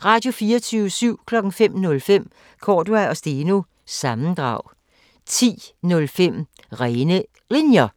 05:05: Cordua & Steno – sammendrag 10:05: Rene Linjer